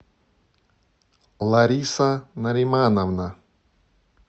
лариса наримановна